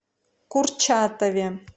курчатове